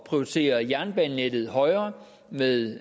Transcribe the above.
prioritere jernbanenettet højere med